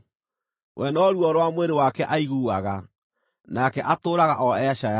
We no ruo rwa mwĩrĩ wake aiguaga, nake atũũraga o ecaayagĩra.”